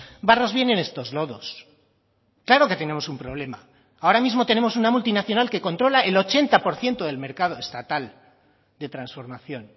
barros vienen estos lodos claro que tenemos un problema ahora mismo tenemos una multinacional que controla el ochenta por ciento del mercado estatal de transformación